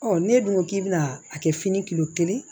ne dun ko k'i bɛ na a kɛ fini kilo kelen ye